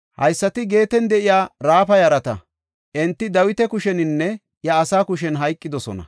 Haysati Geeten de7iya Raafa yarata; enti Dawita kusheninne iya asaa kushen hayqidosona.